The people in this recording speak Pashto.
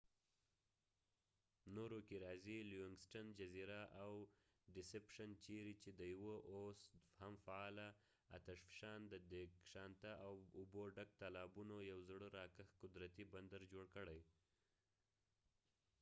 نورو کې راځي لیونګسټن جزیره او ډیسپشن چېرې چې د یوه اوس هم فعاله اتشفشان د دېګشانته اوبه ډک تالابونو یو زړه راکښ قدرتي بندر جوړ کړی